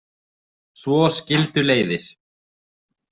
Svo skildu leiðir.